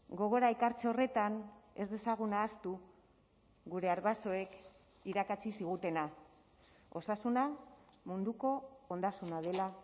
gogora ekartze horretan ez dezagun ahaztu gure arbasoek irakatsi zigutena osasuna munduko ondasuna dela